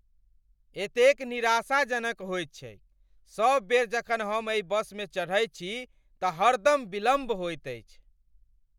एतेक निराशाजनक होइत छैक , सब बेर जखन हम एहि बसमे चढ़ैत छी तऽ हरदम विलम्ब होइत अछि।